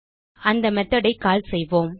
அந்த மெத்தோட் ஐ கால் செய்வோம்